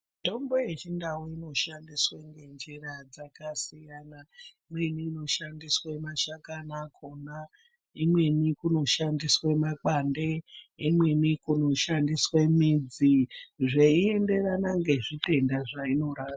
Mitombo yechindau inoshandiswa ngenjira dzakasiyana imweni inoshandiswa mashakani akona ,imweni kunoshandiswe makwande ,imweni kunoshandiswe midzi zveienderana nezvitenda zvainorapa .